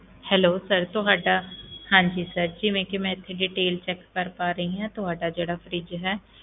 Hello sir ਤੁਹਾਡਾ ਹਾਂਜੀ sir ਜਿਵੇਂ ਕਿ ਮੈਂ ਇੱਥੇ detail check ਕਰ ਪਾ ਰਹੀ ਹਾਂ, ਤੁਹਾਡਾ ਜਿਹੜਾ fridge ਹੈ,